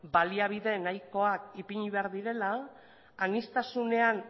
baliabide nahikoak ipini behar direla aniztasunean